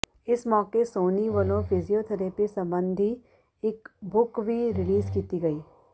ਇਸ ਮੌਕੇ ਸੋਨੀ ਵੱਲੋਂ ਫਿਜੀਓਥਰੈਪੀ ਸਬੰਧੀ ਇਕ ਬੁੱਕ ਵੀ ਰਿਲੀਜ਼ ਕੀਤੀ ਗਈ